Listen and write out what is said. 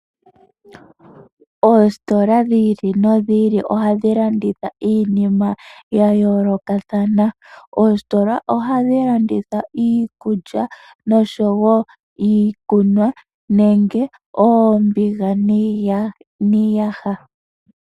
Oositola dhi ili nodhi ili ohadhi landitha iinima yayoolokathana. OOsitola ohadhi landitha iikulya, nosho wo iikunwa nenge oombiga niiyaha.